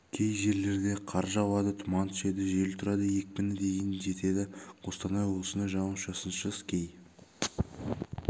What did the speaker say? кей жерлерде қар жауады тұман түседі жел тұрады екпіні дейін жетеді қостанай облысында жауын-шашынсыз кей